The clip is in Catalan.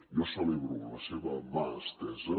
jo celebro la seva mà estesa